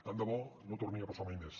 tant de bo no torni a passar mai més